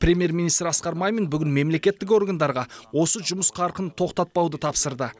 премьер министр асқар мамин бүгін мемлекеттік органдарға осы жұмыс қарқынын тоқтатпауды тапсырды